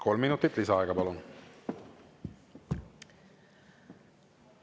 Kolm minutit lisaaega, palun!